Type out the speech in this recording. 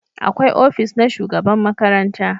Akwai ofis na shugaban makaranta